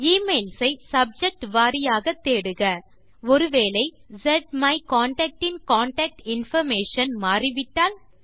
emails ஐ subject வாரியாக தேடுக ஒரு வேளை ஸ்மைகான்டாக்ட் இன் கான்டாக்ட் இன்பார்மேஷன் மாறிவிட்டால்